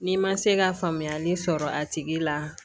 N'i ma se ka faamuyali sɔrɔ a tigi la